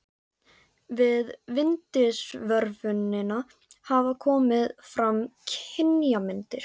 Við vindsvörfunina hafa komið fram kynjamyndir.